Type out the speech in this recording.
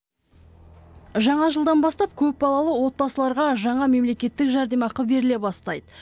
жаңа жылдан бастап көпбалалы отбасыларға жаңа мемлекеттік жәрдемақы беріле бастайды